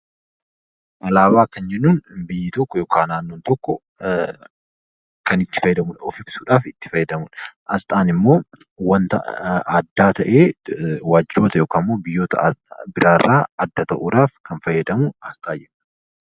Alaabaa kan jennuun naannoo yookaan biyyi tokko kan itti fayyadamuu fi of ibsudha. Asxaan immoo wanta addaa ta'ee biyyoota adda addaa irraa kan fayyadamnudha.